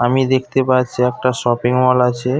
আমি দেখতে পাচ্ছি একটা শপিং মল আছে।